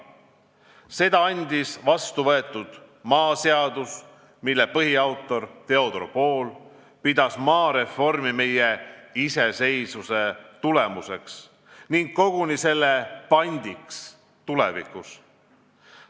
Seda andis vastu võetud maaseadus, mille põhiautor Theodor Pool pidas maareformi meie iseseisvuse tulemuseks ning koguni selle pandiks tulevikus.